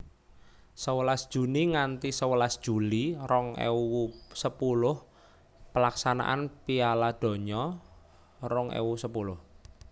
Sewelas Juni nganthi sewelas Juli rong ewu sepuluh Pelaksanaan Piala Donya rong ewu sepuluh